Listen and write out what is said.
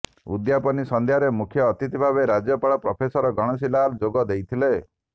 ଉଦ୍ଯାପନୀ ସନ୍ଧ୍ୟାରେ ମୁଖ୍ୟ ଅତିଥି ଭାବେ ରାଜ୍ୟପାଳ ପ୍ରଫେସର ଗଣେଶୀ ଲାଲ ଯୋଗ ଦେଇଥିଲେ